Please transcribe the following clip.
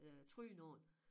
Øh tryne på den